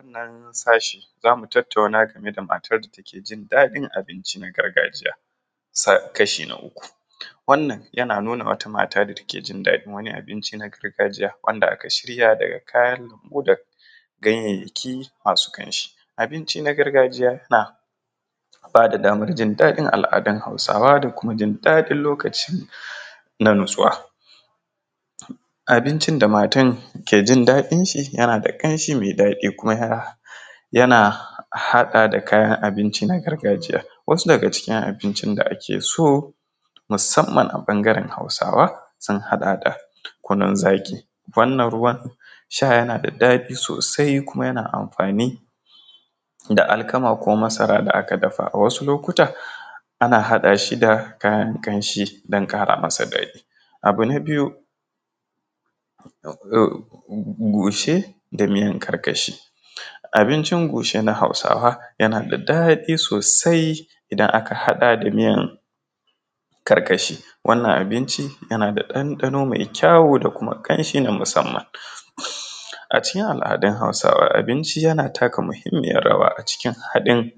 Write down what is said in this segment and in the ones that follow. A wannan sashin zamu tattauna game da matar da take jin ɗadin abinci na gargajiya, sa kashi na uku wannan yana nuna wata mata da take jin ɗadin abinci na gargajiya wanda aka shirya daga kayan ludau ganyayyaki masu kamshi, abinci na gargajiya ma babu damar jin al’adun hausawa da kuma jin ɗadin lokaci da matsuwa, abincin da matar ke jin ɗadin shi yana da kamshi mai ɗadi kuma yana hana haɗa da kayan abinci na gargajiya wasu daga cikin abinci da ake so musamman a ɓangaren hausawa sun haɗa kunun zaki wannan ruwan sha yana da ɗadi sosai kuma yana amfani da alkama ko masara da aka dafa wasu lokutan ana haɗa shi da kayan kamshi don kara masa ɗadi, abu na biyu goshe da miyan karkashi abincin goshe na hausawa yana da ɗadi sosai idan aka haɗa da miyan karkashi wannan abinci yana da ɗanɗano mai kyau da kuma kamshi na musamman. A cikin al’adun hausawa abinci yana taka muhimman rawa a cikin haɗin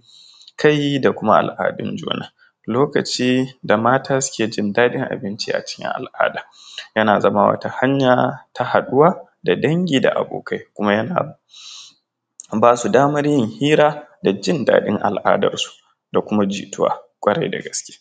kai da kuma al’adun juna, lokaci da mata suke jin ɗadin abinci a cikin al’ada yana zama wata hanya ta daɗuwa da dangi da abokai kuma yana basu damar yin hira da jin ɗadin al’adar su da kuma jituwa kwarai da gaske.